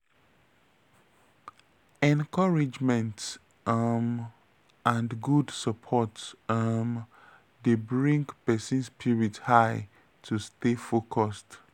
encouragement um and good support um dey bring pesin spirit high to stay focused.